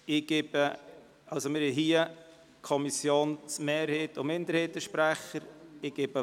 Wir werden je einen Sprecher der Kommissionsmehrheit und der Kommissionsminderheit hören.